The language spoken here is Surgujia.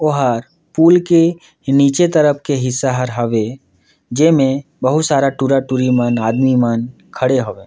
ओहर पूल के नीचे तरफ के हिस्सा हवे जेमे बहुत सारा टूरा-टूरी मन आदमी मन खड़े हवय।